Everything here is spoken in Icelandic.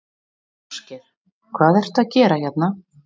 Ásgeir: Hvað ertu að gera hérna?